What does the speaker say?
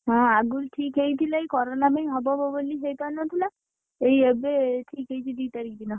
ହଁ ଆଗୁରୁ ଠିକ୍ ହେଇ ଥିଲା, ଏଇ କରୋନା ପାଇଁ ହବ ହବ ବୋଲି ହେଇ ପାରିନଥିଲା ଏଇ ଏବେ ଠିକ୍ ହେଇଛି ଦି ତାରିଖ୍ ଦିନ।